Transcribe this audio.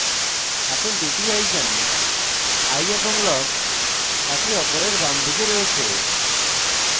এখন 2 the icons eye এবং lock একে অপরের বামদিকে রয়েছে